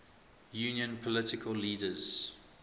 union political leaders